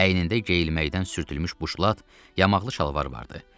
Əynində geyilməkdən sürtülmüş buşlat, yamaqlı şalvar vardı.